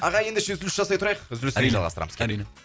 ағай ендеше үзіліс жасай тұрайық үзілістен кейін